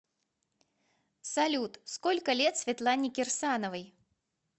салют сколько лет светлане кирсановой